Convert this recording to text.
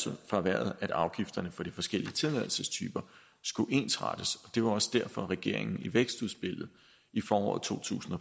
for erhvervet at afgifterne for de forskellige tilladelsestyper skulle ensrettes det var også derfor regeringen i vækstudspillet i foråret to tusind og